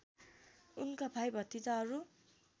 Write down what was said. उनका भाइ भतिजाहरू